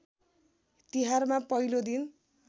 तिहारमा पहिलो दिन